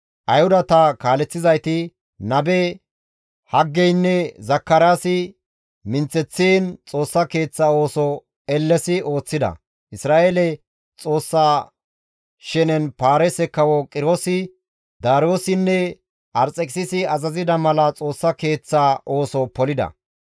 Ayhudata kaaleththizayti, nabe Haggeynne Zakaraasi minththeththiin Xoossa Keeththa ooso ellesi ooththida; Isra7eele Xoossa shenen Paarise kawo Qiroosi, Daariyoossinne Arxekisisi azazida mala Xoossa Keeththaa ooso polida.